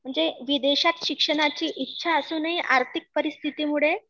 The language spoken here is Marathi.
म्हणजे विदेशात शिक्षणाची इच्छा असुनही आर्थिक परिस्थितीमुळे